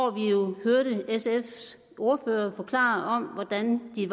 man jo sfs ordfører forklare hvordan de